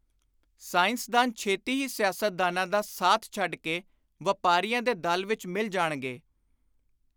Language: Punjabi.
ਸਾਇੰਸਦਾਨ ਛੇਤੀ ਹੀ ਸਿਆਸਤਦਾਨਾਂ ਦਾ ਸਾਥ ਛੱਡ ਕੇ ਵਾਪਾਰੀਆਂ ਦੇ ਦਲ ਵਿਚ ਮਿਲ ਜਾਣਗੇ।